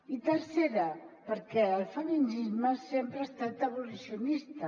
i tercera perquè el feminisme sempre ha estat abolicionista